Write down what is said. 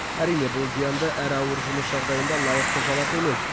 әрине бұл зиянды әрі ауыр жұмыс жағдайында лайықты жалақы емес